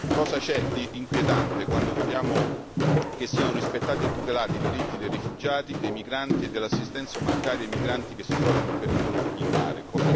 Cosa c'è di inquietante quando vogliamo che siano rispettati e tutelati i diritti dei rifugiati, dei migranti e dell'assistenza umanitaria ai migranti che si trovano in pericolo in mare?